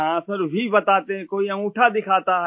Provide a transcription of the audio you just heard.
हाँ सर व बताते हैं कोई अंगूठा दिखाता है